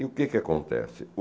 E o que que acontece?